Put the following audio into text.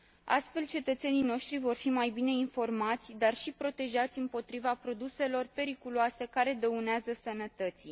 Astfel, cetățenii noștri vor fi mai bine informați, dar și protejați împotriva produselor periculoase care dăunează sănătății.